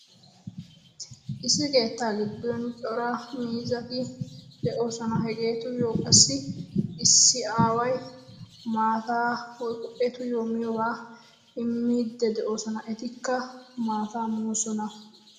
Issi keettaa giddon cora miizzati de'oosona. Hegeetuyyoo qassi issi aaway maataa woykko etuyoo miyoobaa immiiddi de'oosona. Etikka maataa moosona.